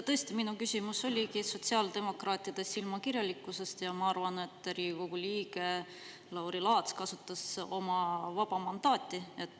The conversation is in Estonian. Tõesti, minu küsimus oligi sotsiaaldemokraatide silmakirjalikkusest ja ma arvan, et Riigikogu liige Lauri Laats kasutas oma vaba mandaati.